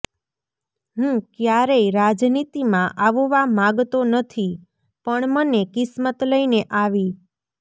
હું ક્યારેય રાજનીતિમાં આવવા માગતો નથી પણ મને કિસ્મત લઈને આવી